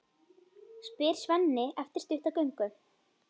spyr Svenni eftir stutta göngu.